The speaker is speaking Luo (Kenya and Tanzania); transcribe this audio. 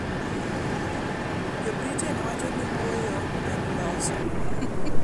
Jo-Britain wacho ni ‘wuoyo en loso’.